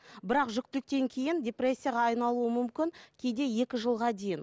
бірақ жүктіліктен кейін депрессияға айналуы мүмкін кейде екі жылға дейін